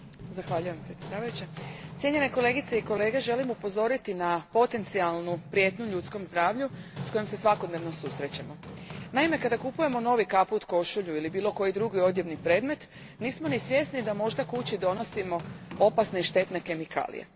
Gospođo predsjednice, cijenjene kolegice i kolege, želim upozoriti na potencijalnu prijetnju ljudskom zdravlju s kojom se svakodnevno susrećemo. Naime, kada kupujemo novi kaput, košulju i bilo koji drugi odjevni predmet, nismo ni svjesni da možda kući donosimo opasne i štetne kemikalije.